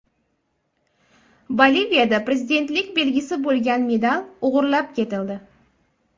Boliviyada prezidentlik belgisi bo‘lgan medal o‘g‘irlab ketildi.